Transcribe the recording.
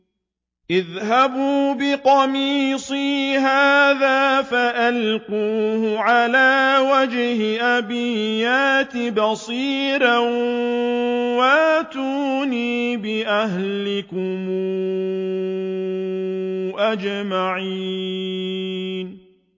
اذْهَبُوا بِقَمِيصِي هَٰذَا فَأَلْقُوهُ عَلَىٰ وَجْهِ أَبِي يَأْتِ بَصِيرًا وَأْتُونِي بِأَهْلِكُمْ أَجْمَعِينَ